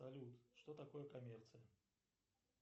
салют что такое коммерция